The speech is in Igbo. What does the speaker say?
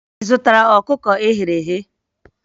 Ị zụtara ọkụkọ e ghere eghe?